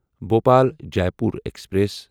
Bhopal Jaipur express